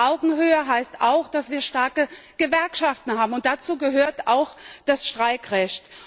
Und Augenhöhe heißt auch, dass wir starke Gewerkschaften haben. Dazu gehört auch das Streikrecht.